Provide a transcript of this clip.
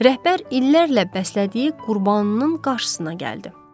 Rəhbər illərlə bəslədiyi qurbanının qarşısına gəldi.